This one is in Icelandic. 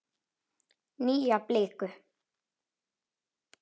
Nýja bliku.